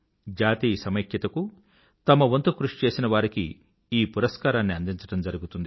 జాతీయ సమైక్యతకు తమ వంతు కృషి చేసిన వారికి ఈ పురస్కారాన్ని అందించడం జరుగుతుంది